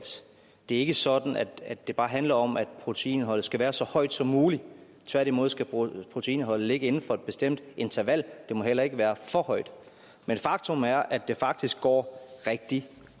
det ikke er sådan at det bare handler om at proteinindholdet skal være så højt som muligt tværtimod skal proteinindholdet ligge inden for et bestemt interval det må heller ikke være for højt men faktum er at det faktisk går rigtig